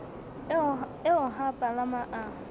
eo ha a palama a